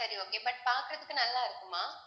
சரி okay but பாக்குறதுக்கு நல்லா இருக்குமா